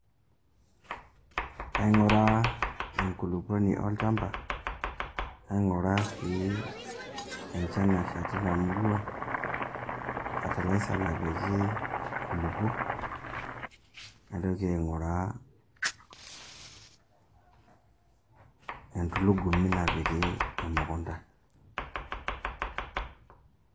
Kaing'uraa enkulukuoni olchamba, naing'uraa sii enchan nasha tina murua, fertiliser napiki inkulukuok, naitoki si aing'uraa endulugumi napiki emukunda.